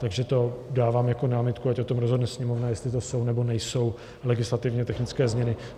Takže to dávám jako námitku, ať o tom rozhodne Sněmovna, jestli to jsou, nebo nejsou legislativně technické změny.